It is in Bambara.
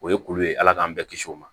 O ye kulu ye ala k'an bɛɛ kisi o ma